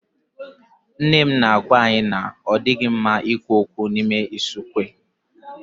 Nne m na-agwá anyị na ọ dịghị mma ikwu okwu n'ime usekwu.